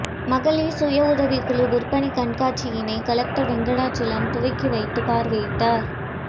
மகளிர் சுய உதவிக்குழு விற்பனை கண்காட்சியினை கலெக்டர் வெங்கடாசலம் துவக்கி வைத்து பார்வையிட்டார்